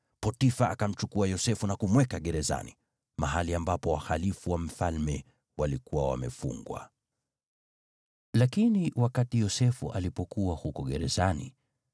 Potifa akamchukua Yosefu na kumweka gerezani, mahali ambapo wahalifu wa mfalme walikuwa wamefungwa. Lakini wakati Yosefu alipokuwa huko gerezani,